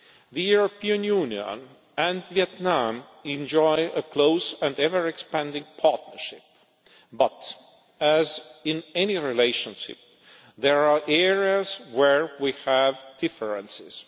The European Union and Vietnam enjoy a close and ever-expanding partnership but, as in any relationship, there are areas where we have differences.